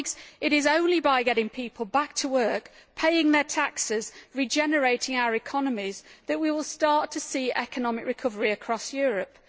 It is only by getting people back to work and paying their taxes, and thus regenerating our economies, that we will start to see economic recovery across Europe.